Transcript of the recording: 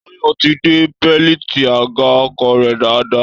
Táyọ̀ ti de bẹ́lìtì àga ọkọ̀ rẹ̀ dáadáa